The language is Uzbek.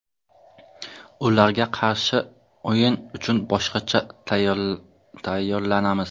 Ularga qarshi o‘yin uchun boshqacha tayyorlanamiz.